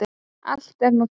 Allt er nú til.